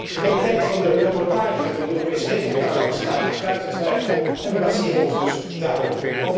De kwaliteit van de rapportage van de Europese Rekenkamer staat buiten kijf en wij baseren ons dus daarop.